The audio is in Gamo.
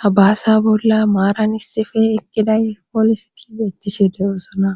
ha baasa bolla maaran issife eqqida pooliseti beettishe dayoosona